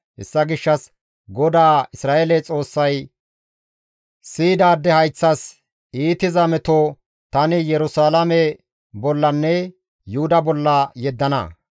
Hessa gishshas GODAA Isra7eele Xoossay siyidaade hayththas iitiza meto tani Yerusalaame bollanne Yuhuda bolla yeddana.